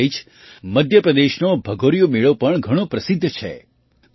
પાસે જ મધ્ય પ્રદેશનો ભગોરિયો મેળો પણ ઘણો પ્રસિદ્ધ છે